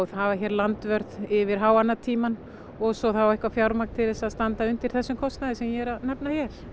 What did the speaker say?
hafa hér landvörð yfir háannatímann og svo þá eitthvað fjármagn til að standa undir þessum kostnaði sem ég er að nefna hér